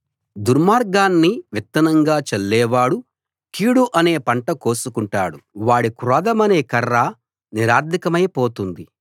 దుర్మార్గాన్ని విత్తనంగా చల్లేవాడు కీడు అనే పంట కోసుకుంటాడు వాడి క్రోధమనే కర్ర నిరర్థకమై పోతుంది